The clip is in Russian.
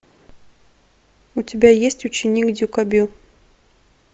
у тебя есть ученик дюкобю